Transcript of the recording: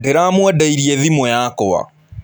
Ndĩramwendeirie thimũ yakwa.